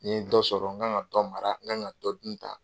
Ni n ye dɔ sɔrɔ n kan ka dɔ mara n kan ka dɔ dun tan.